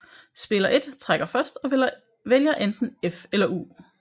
Spiller 1 trækker først og vælger enten F eller U